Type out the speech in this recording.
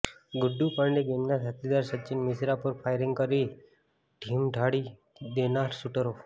ગુડ્ડુ પાંડે ગેંગના સાથીદાર સચીન મિશ્રા પર ફાયરીંગ કરી ઢીમ ઢાળી દેનાર શુટરો